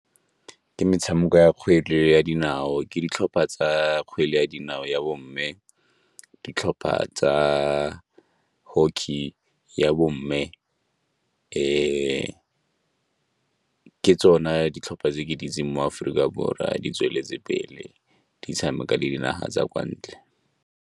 Ke metshameko ya kgwele ya dinao, ke ditlhopha tsa kgwele ya dinao ya bomme, ditlhopha tsa hockey ya bomme ke tsona ditlhopha tse ke di itseng mo Aforika Borwa di tsweletse pele di tshameka dinaga tsa kwa ntle.